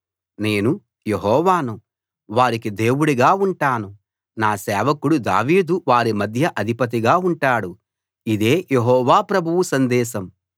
నేను యెహోవాను వారికి దేవుడుగా ఉంటాను నా సేవకుడు దావీదు వారి మధ్య అధిపతిగా ఉంటాడు ఇదే యెహోవా ప్రభువు సందేశం